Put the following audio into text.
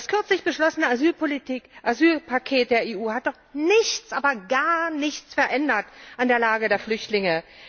Das kürzlich beschlossene Asylpaket der EU hat doch nichts, aber gar nichts verändert an der Lage der Flüchtlinge!